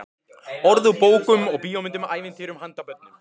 Orð úr bókum og bíómyndum, ævintýrum handa börnum.